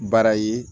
Baara ye